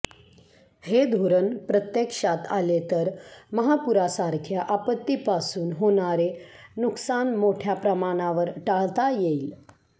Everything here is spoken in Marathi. हे धोरण प्रत्यक्षात आले तर महापुरासारख्या आपत्तीपासून होणारे नुकसान मोठ्या प्रमाणावर टाळता येईल